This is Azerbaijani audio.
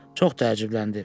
Çox təəccübləndi.